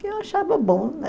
Que eu achava bom, né?